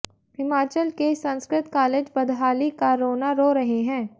हिमाचल के संस्कृत कालेज बदहाली का रोना रो रहे हैं